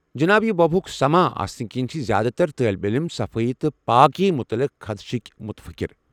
جناب، یہِ وباہُك سماں آسنہٕ کِنۍ چھِ زیٛادٕ تر طٲلب علم صفٲیی تہٕ پٲکی متعلق خدشِکۍ مُتفِكر ۔